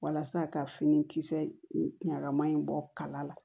Walasa ka fini kisɛ ɲagamin bɔ kala la